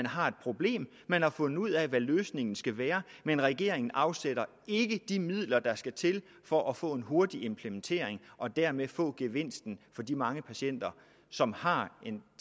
har et problem man har fundet ud af hvad løsningen skal være men regeringen afsætter ikke de midler der skal til for at få en hurtig implementering og dermed få gevinsten for de mange patienter som har en